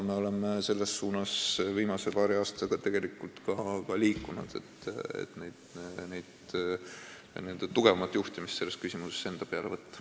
Me oleme viimase paari aastaga ka liikunud selles suunas, et tugevamat juhtimist selles küsimuses enda peale võtta.